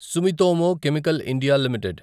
Sumitomo Chemical India limited